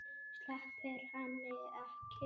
Sleppir henni ekki.